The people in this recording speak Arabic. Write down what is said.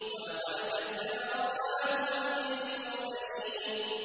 وَلَقَدْ كَذَّبَ أَصْحَابُ الْحِجْرِ الْمُرْسَلِينَ